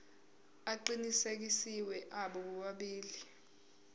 aqinisekisiwe abo bobabili